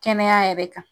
Kɛnɛya yɛrɛ kan